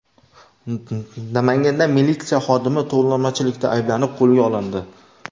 Namanganda militsiya xodimi tovlamachilikda ayblanib qo‘lga olindi.